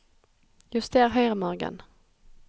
Juster høyremargen